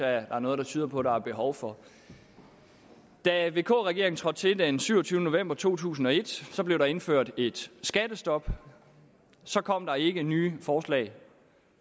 er noget der tyder på at der er behov for da vk regeringen trådte til den syvogtyvende november to tusind og et blev der indført et skattestop så kom der ikke nye forslag